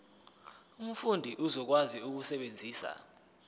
umfundi uzokwazi ukusebenzisa